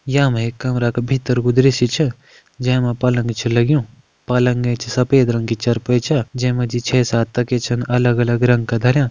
यामा एक कमरा का भितर कु दृश्य छ जै मा पलंग छ लग्युं पलंग एंच सफ़ेद रंग की चरपाई छ जै मा जी छह - सात तकिया छन अलग अलग रंग का धरयां।